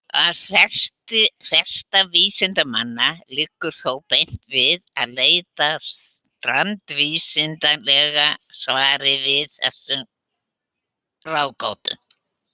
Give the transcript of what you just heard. Að mati flestra vísindamanna liggur þó beinast við að leita strangvísindalegra svara við þessum ráðgátum.